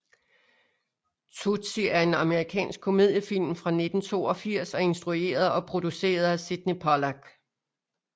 Tootsie er en amerikansk komediefilm fra 1982 instrueret og produceret af Sydney Pollack